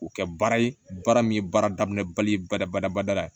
K'u kɛ baara ye baara min ye baara daminɛ bali badabada bada la